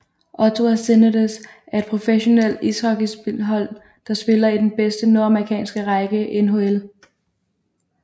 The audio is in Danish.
Ottawa Senators er et professionelt ishockeyhold der spiller i den bedste nordamerikanske række NHL